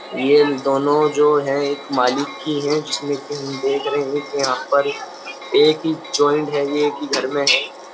ये दोनों जो हैं एक मालिक की हैं। जिसमे हम देख रहे हैं कि यहाँ पर एक ही है एक ही घर मे है।